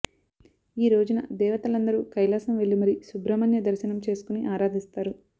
ఈ రోజున దేవతలందరూ కైలాసం వెళ్లి మరీ సుబ్రహ్మణ్య దర్శనం చేసుకొని ఆరాధిస్తారు